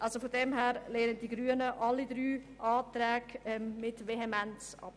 Die Grünen lehnen deshalb alle drei Anträge vehement ab.